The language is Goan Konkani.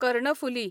कर्णफुली